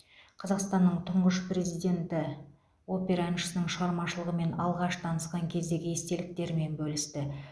қазақстанның тұңғыш президенті опера әншісінің шығармашылығымен алғаш танысқан кездегі естеліктермен бөлісті